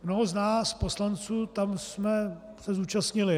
Mnoho z nás poslanců tam jsme se zúčastnili.